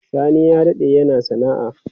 Sani ya dade yana sana'a.